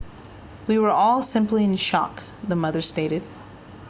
we were all simply in shock the mother stated